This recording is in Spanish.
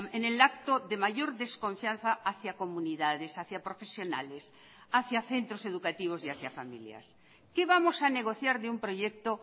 en el acto de mayor desconfianza hacia comunidades hacia profesionales hacia centros educativos y hacia familias qué vamos a negociar de un proyecto